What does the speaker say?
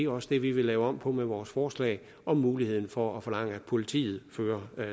også det vi vil lave om på med vores forslag om muligheden for at forlange at politiet fører